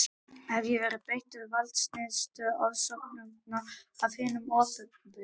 Ég hef verið beittur valdníðslu og ofsóknum af hinu opinbera.